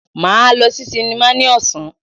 Máa lọ sí sinimá ní ọ̀sán.